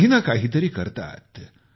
काही नं काही तरी करतातच